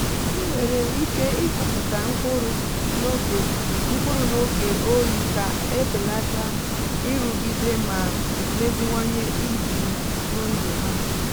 i nwèrè iké ikụpụta mkpụrụ n’oge mkpụrụ n’oge oyi ka a belata nrụgide ma meziwanye ibi ndụ ha.